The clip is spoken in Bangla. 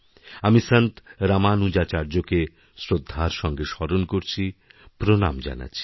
আমি সন্তরামানুজাচার্যকে শ্রদ্ধার সঙ্গে স্মরণ করছি প্রণাম জানাচ্ছি